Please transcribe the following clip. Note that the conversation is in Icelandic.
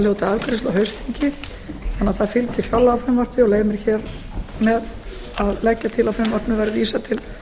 hljóti afgreiðslu á haustþingi en það fylgir fjárlagafrumvarpi og ég leyfi mér hér með að leggja til að frumvarpinu verði vísað til